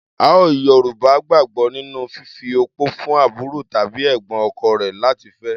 Àọn Yorùbá gbàgbọ́ nínú fífi opó fún àbúrò tàbí ẹ̀gbọ́n ọkọ rẹ̀ láti fẹ́.